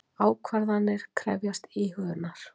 Ákvarðanir krefjast íhugunar.